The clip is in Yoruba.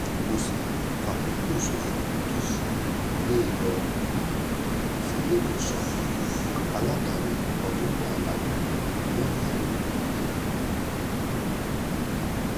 kò sì fàkókò ṣòfò tó fi gbé e lọ síléelọ́sàn aládàáni kan tó wà lágbègbè náà fún ìtọ́jú